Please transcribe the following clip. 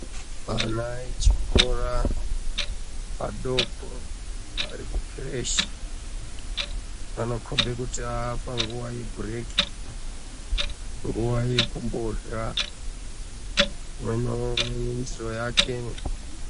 na echikora adoko vari kukireshi vanokomba kuti vapanguwa yebhireki nguwa yekurya umwe naumwe ndendiro yake.